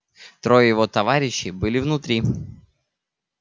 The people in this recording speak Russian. трое его товарищей были внутри